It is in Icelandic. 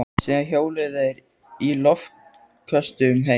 Síðan hjóluðu þeir í loftköstum heim.